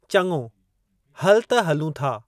चङो, हलु त हलूं था।